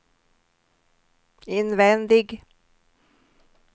invändig